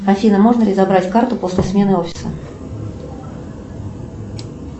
афина можно ли забрать карту после смены офиса